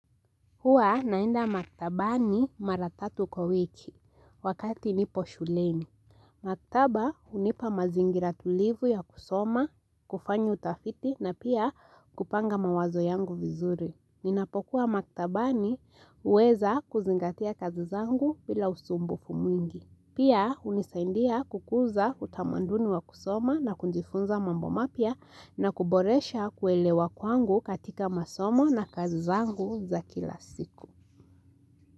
Huwa naenda maktabani maratatu kwa wiki wakati nipo shuleni. Maktaba hunipa mazingira tulivu ya kusoma, kufanya utafiti na pia kupanga mawazo yangu vizuri. Ninapokuwa maktabani huweza kuzingatia kazi zangu bila usumbufu mwingi. Pia hunisaidia kukuza utamaduni wa kusoma na kujifunza mambo mapya na kuboresha kuelewa kwangu katika masomo na kazi zangu za kila siku.